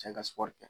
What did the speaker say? Cɛ ka sugɔri kɛ